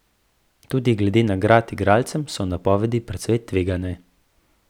Tudi glede nagrad igralcem so napovedi precej tvegane.